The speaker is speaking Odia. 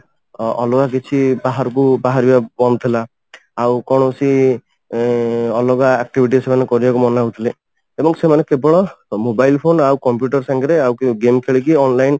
ଅଲଗା କିଛି ବାହାରକୁ ବାହାରିବା ବନ୍ଦ ଥିଲା ଆଉ କୌଣସି ଇଂ ଅଲଗା activity ସେମାନେ କରିବାକୁ ମନା ହଉଥିଲେ ଏବଂ ସେମାନେ କେବଳ mobile ଫୋନ ଆଉ computer ସାଙ୍ଗରେ ଆଉ କେଉଁ game ଖେଳିକି online